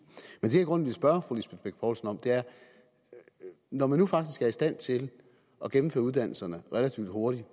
men det jeg i grunden vil spørge fru lisbeth bech poulsen om er når man nu faktisk er i stand til at gennemføre uddannelserne relativt hurtigt